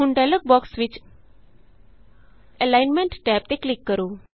ਹੁਣ dialog box ਵਿਚ alignment tab ਤੇ ਕਲਿਕ ਕਰੋ